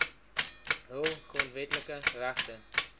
hul grondwetlike regte